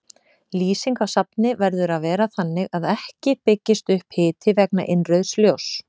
Lýsing á safni verður að vera þannig að ekki byggist upp hiti vegna innrauðs ljóss.